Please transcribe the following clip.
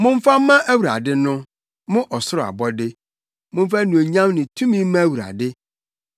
Momfa mma Awurade no, mo ɔsoro abɔde, momfa anuonyam ne tumi mma Awurade.